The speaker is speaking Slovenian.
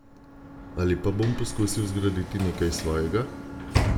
Ali pa bom poskusil zgraditi nekaj svojega?